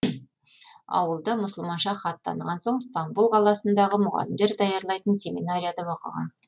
ауылда мұсылманша хат таныған соң стамбұл қаласындағы мұғалімдер даярлайтын семинарияда оқыған